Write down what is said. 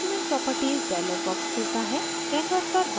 अब document properties dialog box खुलता है